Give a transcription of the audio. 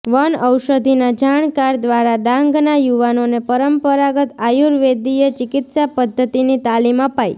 one ઔષધિના જાણકાર દ્વારા ડાંગના યુવાનોને પરંપરાગત આયુર્વેદિય ચિકિત્સા પધ્ધતિની તાલીમ અપાઈ